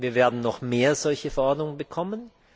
Wir werden noch mehr solche Verordnungen bekommen.